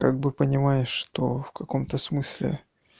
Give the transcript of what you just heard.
так бы понимаешь что в каком-то смысле